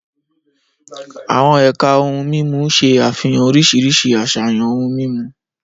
Àwọn ẹ̀ka ohun mímu ṣe àfihàn oríṣiríṣi àṣàyàn ohun mímu.